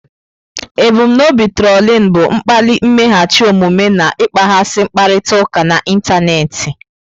Ebum n'obi trolin bụ ịkpali mmeghachi omume na ịkpaghasị mkparịta ụka n'ịntanetị.